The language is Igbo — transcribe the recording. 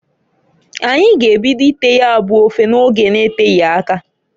Anyi g'ebido ite ya bu ofe n'oge n'eteghi aka.